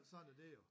Sådan er det jo